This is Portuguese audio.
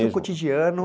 cotidiano.